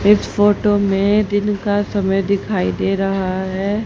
इस फोटो में दिन का समय दिखाइ दे रहा है।